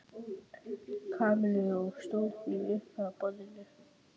Kamillu og stóð því upp frá borðinu.